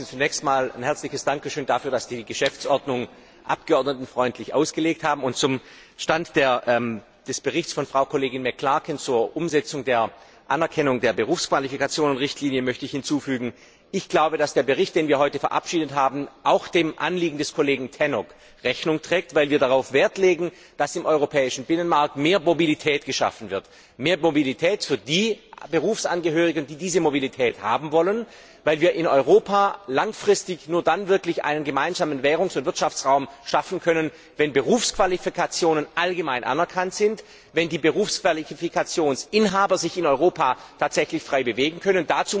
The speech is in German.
Zunächst einmal ein herzliches Dankeschön dafür, dass Sie die Geschäftsordnung abgeordnetenfreundlich ausgelegt haben und zum Stand des Berichts von Frau Kollegin McClarkin zur Umsetzung der Anerkennung der Berufsqualifikationenrichtlinie möchte ich hinzufügen Ich glaube, dass der Bericht, den wir heute verabschiedet haben, auch dem Anliegen des Kollegen Tannock Rechnung trägt, weil wir darauf Wert legen, dass im europäischen Binnenmarkt mehr Mobilität geschaffen wird mehr Mobilität für die Berufsangehörigen, die diese Mobilität haben wollen weil wir in Europa langfristig nur dann wirklich einen gemeinsamen Währungs und Wirtschaftsraum schaffen können, wenn Berufsqualifikationen allgemein anerkannt werden und wenn die Berufsqualifikationsinhaber sich in Europa tatsächlich frei bewegen können.